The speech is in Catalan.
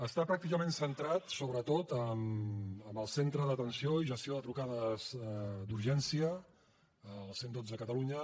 està pràcticament centrada sobretot en el centre d’atenció i gestió de trucades d’urgència el cent i dotze a catalunya